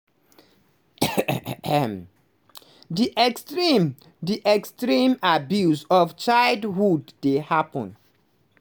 "di extreme "di extreme abuse of childhood dey happun.